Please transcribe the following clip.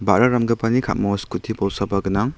ba·ra ramgipani ka·mao skuti bolsaba gnang.